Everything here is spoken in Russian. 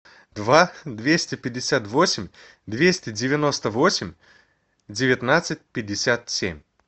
два двести пятьдесят восемь двести девяносто восемь девятнадцать пятьдесят семь